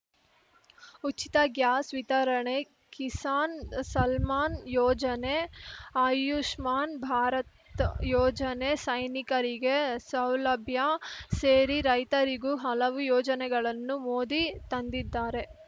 ಉಚಿತ ಗ್ಯಾಸ್‌ ವಿತರಣೆ ಕಿಸಾನ್‌ ಸಲ್ಮಾನ್‌ ಯೋಜನೆ ಅಯುಷ್ಮಾನ್‌ ಭಾರತ್‌ ಯೋಜನೆ ಸೈನಿಕರಿಗೆ ಸೌಲಭ್ಯ ಸೇರಿ ರೈತರಿಗೂ ಹಲವು ಯೋಜನೆಗಳನ್ನು ಮೋದಿ ತಂದಿದಾರೆ